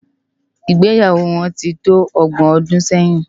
Igbéyáwò wòn ti tó ògbòn òdún sèyin